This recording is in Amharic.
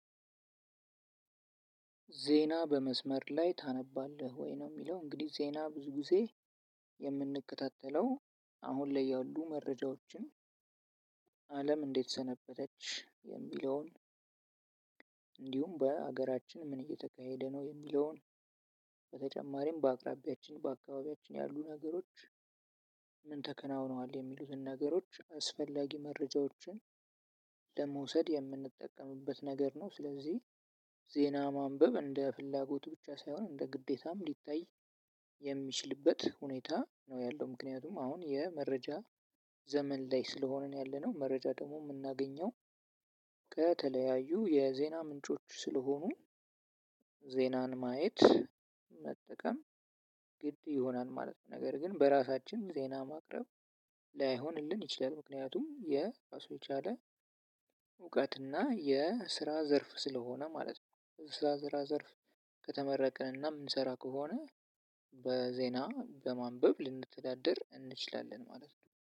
ዜና በመስመር ላይ ታነባለህ ወይ? ነው የሚለው እንግዲህ ዜና ብዙ ጊዜ የምንከታተለው አሁን ላይ ያሉ መረጃዎችን፣ አለም እንዴት ሰነበተች የሚለውን፣ እንዲሁም በአገራችን ምን እየተካሄደነው የሚለውን በጨማሪ በአካባቢያችን ምን ተከናውኗል የሚሉትን ነገሮች አስፈላጊ መርጃዎችን ለመውሰድ የምንጠቀምበት ነገር ነው። ስለዚህ ዜና ማንበብ እንደ ፍላጎቱ ብቻ ሳይሆን እንደ ግዴታም ሊታይ የሚችልበት ሁኔታ ነው ያለው ምክንያቱም አሁን የመረጃ ዘመን ላይ ስለሆነ ነው ያለነው መረጃ ደግሞ የምናገኘው ከተለያዩ የዜና ምንጮች ስለሆኑ ዜናን ማየት፣ መጠቀም ግድ ይሆናል ማለት ነው። ነገር ግን በራሳችን ዜና ማቅረብ ላይሆንልን ይችላል ምክንያቱም የ የቻለ እውቀት እና የስራ ዘርፍ ስለሆነ ማለት ነው። ስራ ዘራ ዘርፍ ከተመረቅንና የምንሰራ ከሆነ በዜና በማንበብ ልንተዳደር እንችላለን ማለት ነው።